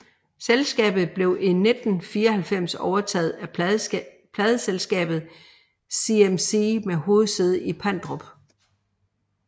Selskabet blev i 1994 overtaget af Pladeselskabet CMC med hovedsæde i Pandrup